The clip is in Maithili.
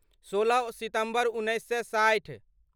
सोलह सितम्बर उन्नैस सए साठि